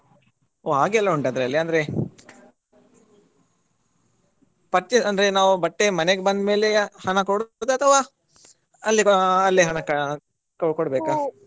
ಓ ಹಾಗೆ ಎಲ್ಲ ಉಂಟಾ ಅದ್ರಲ್ಲಿ ಅಂದ್ರೆ purchase ಅಂದ್ರೆ ನಾವು ಬಟ್ಟೆ ಮನೆಗೆ ಬಂದ್ ಮೇಲೆಯಾ ಹಣ ಕೊಡುದಾ ಅಥವಾ ಅಲ್ಲೇ ಅಲ್ಲೇ ಹಣ ಕೊಡ್ಬೇಕಾ?